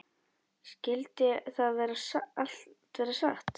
Skyldi það allt vera satt?